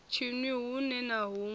tshinwi huṋwe na huṋwe sa